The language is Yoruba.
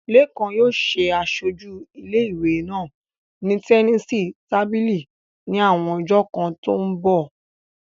Lékan yóò ṣe aṣojú ilé ìwé náà ní tẹníìsì tábìlì ní àwọn ọjọ́ kan tó ń bọ̀